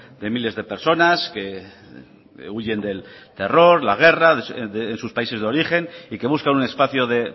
de miles de personas que huyen del terror la guerra en sus países de origen y que buscan un espacio de